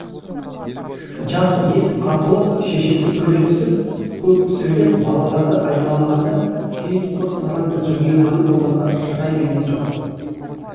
жас ет асылып шешесі күле түсіп көп сөйлеп балаларды аймалағанда сейіт құр сараң жымиғаны болмаса шырай берген жоқ